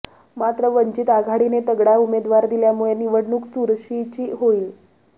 मात्र वंचित आघाडीने तगडा उमेदवार दिल्यामुळे निवडणूक चुरशीची होईल